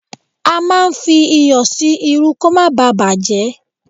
A máa ń fi iyọ̀ sí irú kò mọ báà bàjẹ́